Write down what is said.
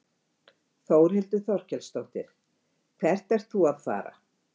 Þórhildur Þorkelsdóttir: Hvert ert þú að fara?